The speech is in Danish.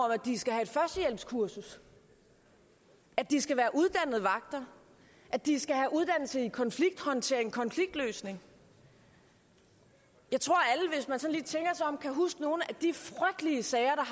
at de skal have et førstehjælpskursus at de skal være uddannede vagter at de skal have uddannelse i konflikthåndtering konfliktløsning jeg tror at om kan huske nogle af de frygtelige sager